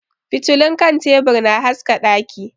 Fitilun kan tebur na haska daki.